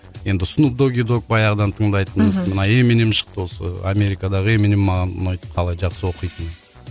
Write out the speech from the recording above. енді снуп доги догг баяғыдан тыңдайтынбыз мхм мына эминем шықты осы америкадағы эминем маған ұнайды қалай жақсы оқитыны